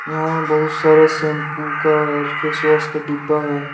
यहां बहुत सारा शैम्पू का और फेसवॉश का डिब्बा है।